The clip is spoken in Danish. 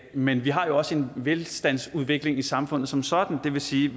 men vi har jo også en velstandsudvikling i samfundet som sådan det vil sige